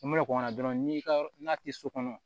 I mana kɔn ka na dɔrɔn n'i ka yɔrɔ n'a tɛ so kɔnɔ